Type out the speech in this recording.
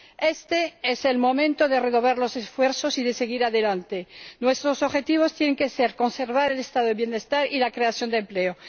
Este es el momento de renovar los esfuerzos y de seguir adelante. Nuestros objetivos tienen que ser conservar el Estado del bienestar y la creación de empleo.